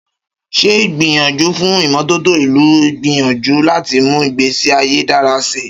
Ṣé ìgbìyànjú fún ìmọ́tótó ìlú ń gbìyànjú láti mú ìgbésí ayé dára síi?